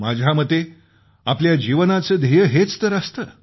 माझ्या मते आपल्या जीवनाचं ध्येय हेच तर असतं